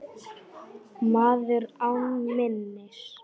Maður án minnis.